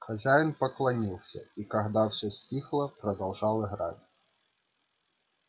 хозяин поклонился и когда все стихло продолжал играть